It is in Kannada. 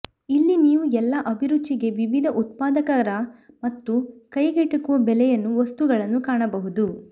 ಇಲ್ಲಿ ನೀವು ಎಲ್ಲಾ ಅಭಿರುಚಿಗೆ ವಿವಿಧ ಉತ್ಪಾದಕರ ಮತ್ತು ಕೈಗೆಟುಕುವ ಬೆಲೆಯಲ್ಲಿ ವಸ್ತುಗಳನ್ನು ಕಾಣಬಹುದು